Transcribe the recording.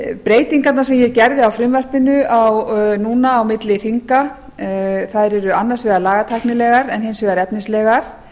breytingarnar sem ég gerði á frumvarpinu núna á milli þinga eru annars vegar lagatæknilegar en hins vegar efnislegar